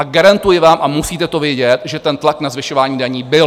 A garantuji vám, a musíte to vědět, že ten tlak na zvyšování daní byl.